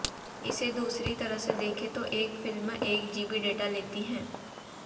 इसे दूसरी तरह से देखें तो एक फिल्म एक जीबी डेटा लेती है